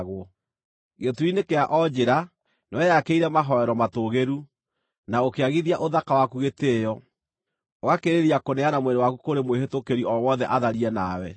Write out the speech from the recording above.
Gĩturi-inĩ kĩa o njĩra nĩweyakĩire mahooero matũũgĩru, na ũkĩagithia ũthaka waku gĩtĩĩo, ũgakĩrĩrĩria kũneana mwĩrĩ waku kũrĩ mwĩhĩtũkĩri o wothe atharie nawe.